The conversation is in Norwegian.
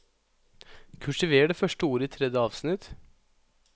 Kursiver det første ordet i tredje avsnitt